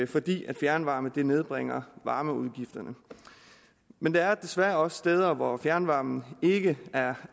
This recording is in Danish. fordi fjernvarme nedbringer varmeudgifterne men der er desværre også steder hvor fjernvarmen ikke er